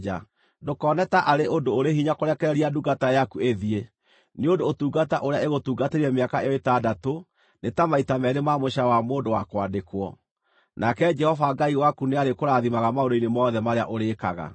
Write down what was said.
Ndũkone taarĩ ũndũ ũrĩ hinya kũrekereria ndungata yaku ĩthiĩ, nĩ ũndũ ũtungata ũrĩa ĩgũtungatĩire mĩaka ĩyo ĩtandatũ nĩ ta maita meerĩ ma mũcaara wa mũndũ wa kwandĩkwo. Nake Jehova Ngai waku nĩarĩkũrathimaga maũndũ-inĩ mothe marĩa ũrĩĩkaga.